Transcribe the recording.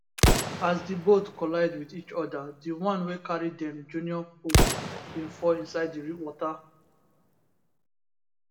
as di boat collide wit each oda dione wey carry dem junior pope bin fall inside di water